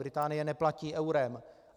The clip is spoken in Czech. Británie neplatí eurem.